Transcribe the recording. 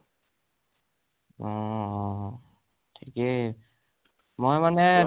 অ অ অ ঠিকেই মই মানে